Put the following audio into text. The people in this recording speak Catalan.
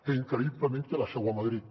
que increïblement té la seu a madrid